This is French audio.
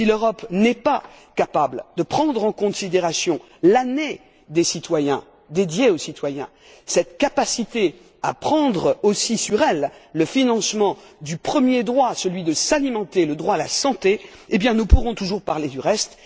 Si l'Europe n'est pas capable de prendre en considération l'année dédiée aux citoyens, de prendre aussi sur elle le financement du premier droit celui de s'alimenter, le droit à la santé nous pourrons toujours parler du reste